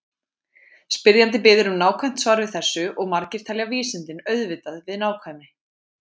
Spyrjandi biður um nákvæmt svar við þessu og margir tengja vísindin auðvitað við nákvæmni.